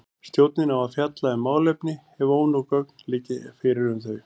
Stjórnin á að fjalla um málefni ef ónóg gögn liggja fyrir um þau.